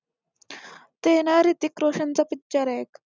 तेना रितिक रोशन चा picture एक